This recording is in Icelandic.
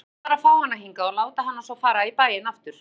Hugmyndin var að fá hana hingað og láta hana svo fara í bæinn aftur.